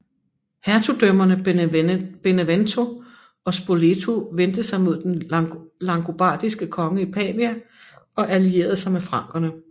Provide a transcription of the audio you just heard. Hertugdømmerne Benevento og Spoleto vendte sig mod den langobardiske konge i Pavia og allierede sig med frankerne